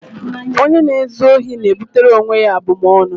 Onye na-ezu ohi na-ebutere onwe ya abụmaọnụ.